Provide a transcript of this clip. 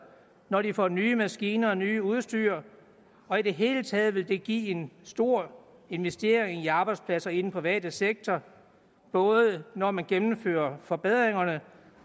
når de får nye maskiner og nyt udstyr og i det hele taget vil det give en stor investering i arbejdspladser i den private sektor både når man gennemfører forbedringerne